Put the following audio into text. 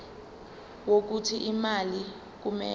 wokuthi imali kumele